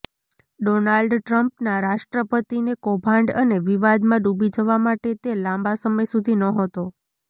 Donald ટ્રમ્પના રાષ્ટ્રપતિને કૌભાંડ અને વિવાદમાં ડૂબી જવા માટે તે લાંબા સમય સુધી નહોતો